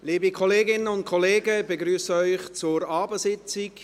Liebe Kolleginnen und Kollegen, ich begrüsse Sie zur Abendsitzung.